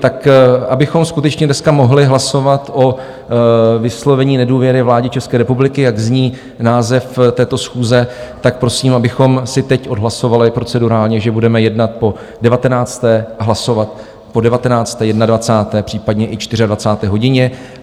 Tak abychom skutečně dneska mohli hlasovat o vyslovení nedůvěry vládě České republiky, jak zní název této schůze, tak prosím, abychom si teď odhlasovali procedurálně, že budeme jednat po 19. a hlasovat po 19., 21., případně i 24. hodině.